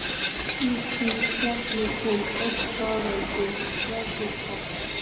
Í því spjalli kom öll sagan um fjársvik pabba.